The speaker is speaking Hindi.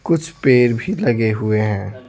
कुछ पेर भी लगे हुए हैं।